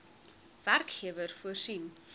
werkgewer voorsien